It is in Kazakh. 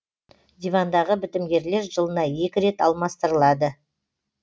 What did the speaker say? дивандағы бітімгерлер жылына екі рет алмастырылады